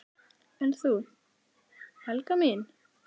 """En þú, Helga mín?"""